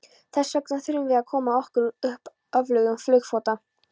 Þessvegna þurfum við að koma okkur upp öflugum flugflota.